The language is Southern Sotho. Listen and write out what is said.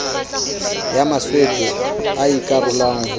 ya maswetso e ikarolang ho